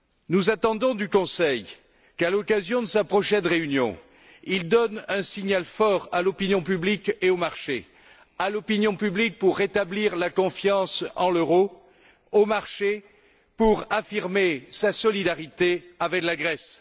Nous attendons du Conseil qu'à l'occasion de sa prochaine réunion, il donne un signal fort à l'opinion publique et au marché à l'opinion publique pour rétablir la confiance en l'euro, au marché pour affirmer sa solidarité avec la Grèce.